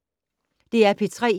DR P3